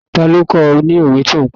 Ta ló kọ́ ọ ní òwe tí o pa?